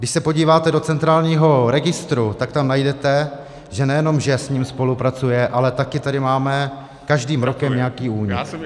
Když se podíváte do centrálního registru, tak tam najdete, že nejenom že s ním spolupracuje, ale také tady máme každým rokem nějaký únik.